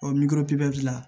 n'i ko pipiniyɛri la